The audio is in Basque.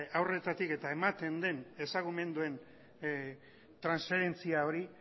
haurretatik ematen den ezagumenduen transferentzia hori